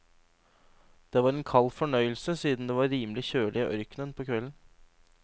Det var en kald fornøyelse siden det var rimelig kjølig i ørkenen på kvelden.